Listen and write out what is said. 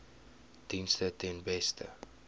dienste ten beste